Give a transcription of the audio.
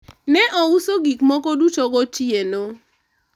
ne ouso gik moko duto gotieno